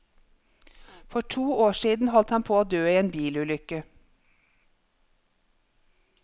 For to år siden holdt han på å dø i en bilulykke.